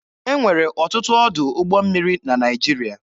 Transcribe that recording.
E nwere ọtụtụ ọdụ ụgbọ mmiri na Naịjirịa.